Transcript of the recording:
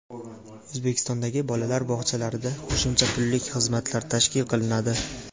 O‘zbekistondagi bolalar bog‘chalarida qo‘shimcha pullik xizmatlar tashkil qilinadi.